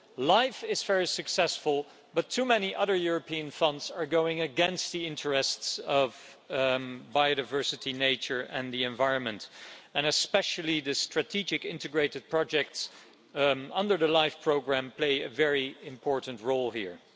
LIFE is very successful, but too many other European funds are going against the interests of biodiversity, nature and the environment, and especially the strategic integrated projects under the LIFE programme play a very important role here.